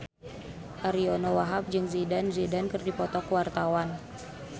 Ariyo Wahab jeung Zidane Zidane keur dipoto ku wartawan